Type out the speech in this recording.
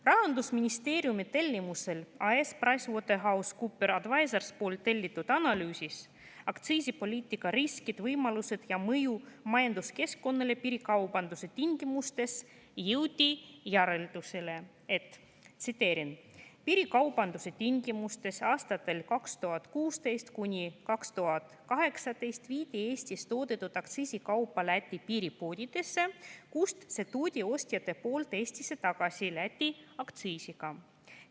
Rahandusministeeriumi tellimusel AS PricewaterhouseCoopers Advisorsilt tellitud analüüsis "Aktsiisipoliitika riskid, võimalused ja mõju majanduskeskkonnale piirikaubanduse tingimustes" jõuti järeldusele, et piirikaubanduse tingimustes aastatel 2016–2018 viidi Eestis toodetud aktsiisikaupu Läti piiripoodidesse, kust ostjad tõid need Eestisse tagasi, Lätis aktsiisi.